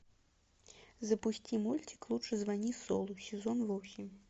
запусти мультик лучше звони солу сезон восемь